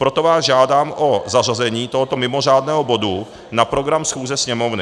Proto vás žádám o zařazení tohoto mimořádného bodu na program schůze Sněmovny.